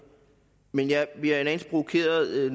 men jeg bliver en anelse provokeret